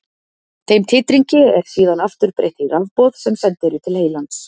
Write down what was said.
Þeim titringi er síðan aftur breytt í rafboð sem send eru til heilans.